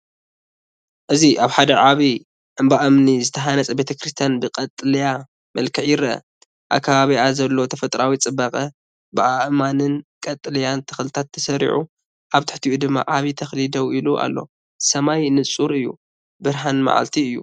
እዚ ኣብ ሓደ ዓቢ እምባ እምኒ ዝተሃንጸ ቤተ ክርስቲያን ብቀጠልያ መልክዕ ይርአ። ኣብ ከባቢኣ ዘሎ ተፈጥሮኣዊ ጽባቐ ብኣእማንን ቀጠልያ ተኽልታትን ተሰሪዑ፡ ኣብ ትሕቲኡ ድማ ዓቢ ተክሊ ደው ኢሉ ኣሎ። ሰማይ ንጹር እዩ፡ ብርሃን መዓልቲ እዩ።